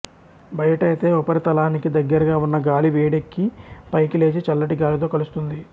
బయటైతే ఉపరితలానికి దగ్గరగా ఉన్న గాలి వేడెక్కి పైకి లేచి చల్లటి గాలితో కలుస్తుంది